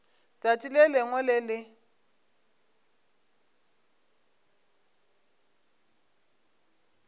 tšatši le lengwe le le